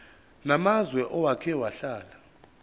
namazwe owake wahlala